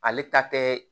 Ale ta tɛ